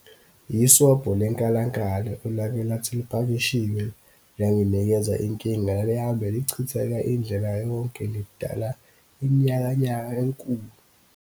Yisobho lenkalankala, olake lathi lipakishiwe, langinikeza inkinga. Lali hambe lichitheka indlela yonke le, lidala inyakanyaka enkulu.